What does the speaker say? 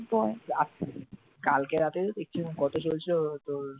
কালকে রাত্রেই তো দেখছিলাম কত চলছিল তোর